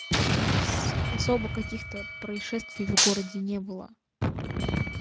у нас особо каких-то происшествий в городе не было